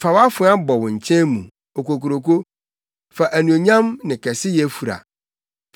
Fa wʼafoa bɔ wo nkyɛn mu, okokuroko; fa anuonyam ne kɛseyɛ fura.